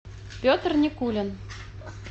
петр никулин